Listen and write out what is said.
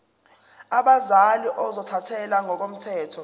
abazali ozothathele ngokomthetho